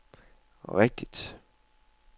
rigtigt